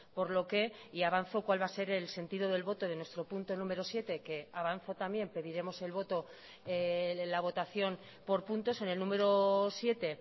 por lo que y avanzo cuál va a ser el sentido del voto de nuestro punto número siete que avanzo también pediremos el voto la votación por puntos en el número siete